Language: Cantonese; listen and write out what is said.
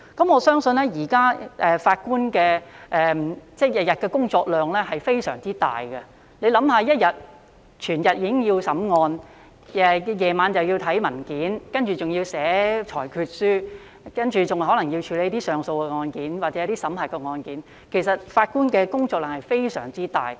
我相信現時法官每天的工作量非常大，大家試想，日間要審理案件，晚上又要審閱文件，接着還要撰寫裁決書，更可能要處理上訴案件或審核案件，其實法官的工作量非常大。